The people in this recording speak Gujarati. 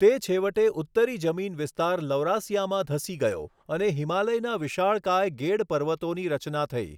તે છેવટે ઉત્તરી જમીન વિસ્તાર લૌરાસિયામાં ધસી ગયો અને હિમાલયના વિશાળકાય ગેડ પર્વતોની રચના થઈ.